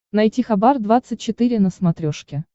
найти хабар двадцать четыре на смотрешке